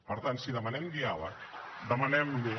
per tant si demanem diàleg demanem lo